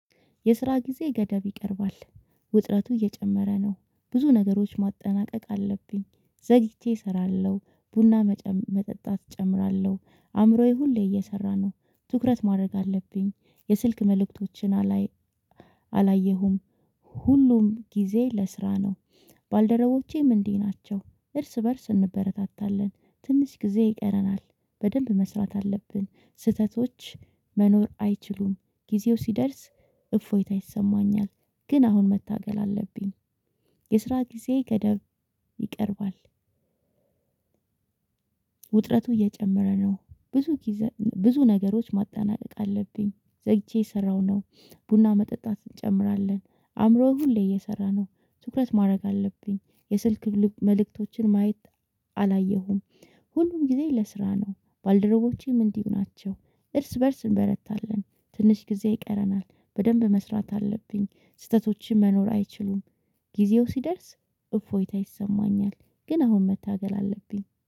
የስራ ጊዜ ገደብ ይቀርባል። ውጥረቱ እየጨመረ ነው። ብዙ ነገሮች ማጠናቀቅ አለብኝ። ዘግይቼ እሰራለሁ ቡና መጠጣት እጨምራለሁ አእምሮዬ ሁሌ እየሰራ ነው። ትኩረት ማድረግ አለብኝ የስልክ መልእክቶችን አላይም። አላየሁም ሁሉም ጊዜ ለስራ ነው። ባልደረቦቼም እንዲህ ናቸው። እርስ በእርስ እንበረታታለን ትንሽ ጊዜ ይቀረናል። በደንብ መስራት አለብን ስህተቶች መኖር አይችሉም። ጊዜው ሲደርስ እፎይታ ይሰማኛል። ግን አሁን መታገል አለብኝ። የስራ ጊዜ ገደብ ይቀርባል። ውጥረቱ እየጨመረ ነው። ብዙ ብዙ ነገሮች ማጠናቀቅ አለብኝ። ዘግቼ የሰራው ነው። ቡና መጠጣት እንጨምራለን አእምሮው ሁሌ እየሰራ ነው። ስኩረት ማድረግ አለብኝ የስልክ መልእክቶችን ማየት አላየሁም። ሁሉም ጊዜ ለስራ ነው ባልደረቦቼም እንዲሁ ናቸው። እርስ በእርስ እንበረታለን ትንሽ ጊዜ ይቀረናል። በደንብ መስራት አለብኝ ስህተቶችህን መኖር አይችሉም። ጊዜው ሲደርስ እፎይታ ይሰማኛል። ግን አሁን መታገል አለብኝ